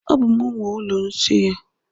E, ọ bú m nwe ụlọ nsị a.